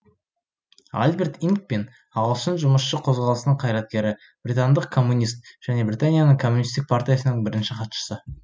альберт инкпин ағылшын жұмысшы қозғалысының қайраткері британдық коммунист және британияның коммунисттік партиясының бірінші хатшысы